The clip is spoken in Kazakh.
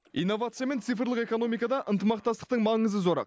инновация мен цифрлық экономикада ынтымақтастықтың маңызы зор